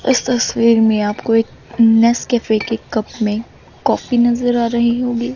इस तस्वीर में आपको एक नेस्कैफे के कप में कॉफी नजर आ रही होगी।